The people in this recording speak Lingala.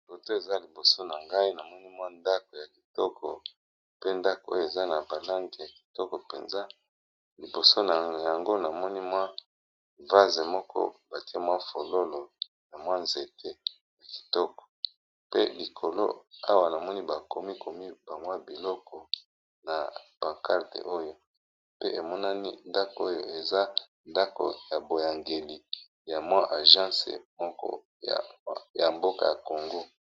Foto eza liboso na ngai na monimwa ndako ya kitoko pe ndako oyo eza na balange ya kitoko mpenza, liboso yango na monimwa vase moko batie mwa fololo ya mwa nzete ya kitoko, pe likolo awa namoni bakomi komi bangwa biloko na bancarde oyo pe emonani ndako oyo eza ndako ya boyangeli ya mwa agence moko ya mboka ya kongo.